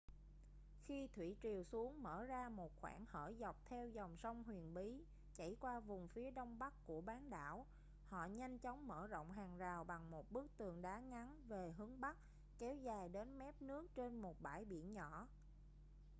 khi thủy triều xuống mở ra một khoảng hở dọc theo dòng sông huyền bí chảy qua vùng phía đông bắc của bán đảo họ nhanh chóng mở rộng hàng rào bằng một bức tường đá ngắn về hướng bắc kéo dài đến mép nước trên một bãi biển nhỏ